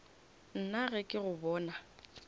nna ge ke go bona